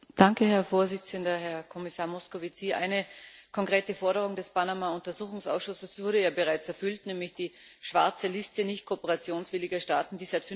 Herr Präsident, Herr Kommissar Moscovici! Eine konkrete Forderung des Panama Untersuchungsausschusses wurde ja bereits erfüllt, nämlich die schwarze Liste nicht kooperationswilliger Staaten, die seit